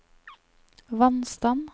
vannstand